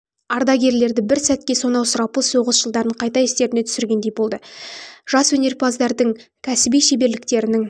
ардагерлерді бір сәтке сонау сұрапыл соғыс жылдарын қайта естеріне түсіргендей болды жас өнерпаздардың кәсіби шеберліктерінің